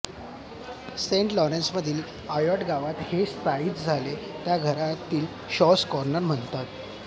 Saint लॉरेन्समधील Ayot गावात ते स्थायिक झाले त्या घराला आता शॉझ कॉर्नर म्हणतात